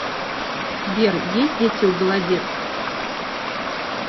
сбер есть дети у голодец